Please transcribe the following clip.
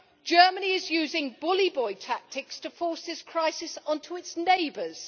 Germany is using bully boy tactics to force this crisis on to its neighbours.